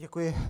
Děkuji.